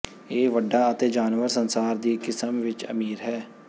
ਇਹ ਵੱਡਾ ਅਤੇ ਜਾਨਵਰ ਸੰਸਾਰ ਦੀ ਕਿਸਮ ਵਿੱਚ ਅਮੀਰ ਹੈ